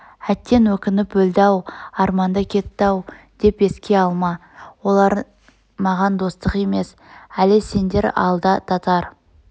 әттең өкніп өлді-ау арманда кетті-ау деп еске алма оларың маған достық емес әлі сендер алда татар